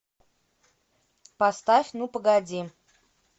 поставь ну погоди